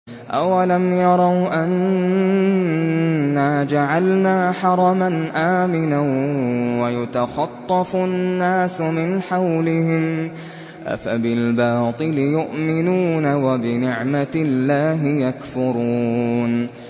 أَوَلَمْ يَرَوْا أَنَّا جَعَلْنَا حَرَمًا آمِنًا وَيُتَخَطَّفُ النَّاسُ مِنْ حَوْلِهِمْ ۚ أَفَبِالْبَاطِلِ يُؤْمِنُونَ وَبِنِعْمَةِ اللَّهِ يَكْفُرُونَ